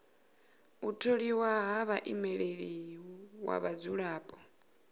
u tholiwa ha muimeleli wa vhadzulapo